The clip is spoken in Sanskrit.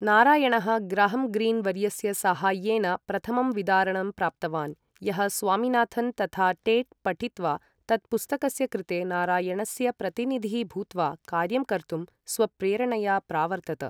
नारायणः ग्रहम् ग्रीन् वर्यस्य साहाय्येन प्रथमं विदारणं प्राप्तवान्, यः स्वामिनाथन् तथा टेट् पठित्वा, तत्पुस्तकस्य कृते नारायणस्य प्रतिनिधिः भूत्वा कार्यं कर्तुं स्वप्रेरणया प्रावर्तत।